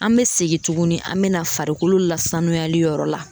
An bɛ segin tuguni an bɛ na farikolo lasanuyali yɔrɔ la.